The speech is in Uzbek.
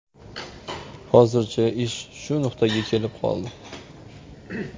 Hozircha ish shu nuqtaga kelib qoldi.